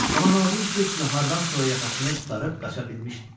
Amma nadinc qız nahardan sonra yaxasını qurtarıb qaça bilmişdi.